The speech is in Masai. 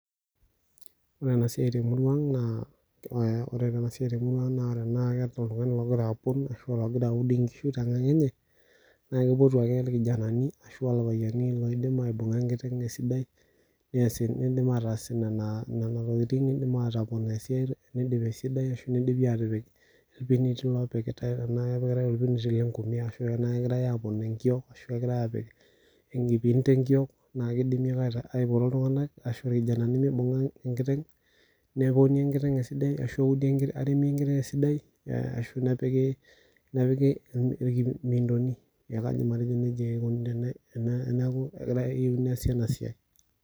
Wore ena siai temurua ang' naa wore enasiai temurua ang' naa teneeta oltungani lokira apon ashu lakira aud inkishu tenkang enye, naa kipotu ake orkijanani ashu aa irpayiani oidim aibunga enkiteng esidai, niidim aataas niana tokitin iidim aatopon niindip esidai arashu nidimi aatipik irpiniti loopikitae tenaa kepikitae orpinit lenkume ashu ena kekirae aapon enkiok, kekirae aapik enkipinti enkiok naa kidimi aipoto iltunganak ashu aa irkijanani mibunga enkiteng. Neponi enkiteng esidai ashu eudi eremi enkiteng esidai, ashu nepiki imiintoni. Neeku kaidim atejo nejia ikuni tene teneeku keyieuni neesi ena siai.